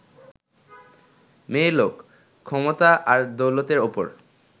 মেয়েলোক, ক্ষমতা আর দৌলতের ওপর